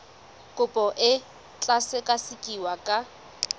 kopo e tla sekasekiwa ka